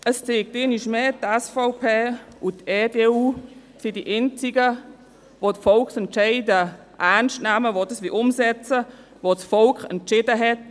Es zeigt sich einmal mehr, die SVP und EDU sind die einzigen, welche Volksentscheide ernst nehmen und das umsetzen wollen, was das Volk entschieden hat.